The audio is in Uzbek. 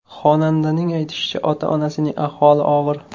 Xonandaning aytishicha, ota-onasining ahvoli og‘ir.